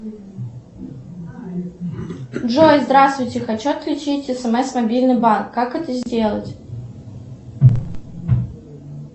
джой здравствуйте хочу отключить смс мобильный банк как это сделать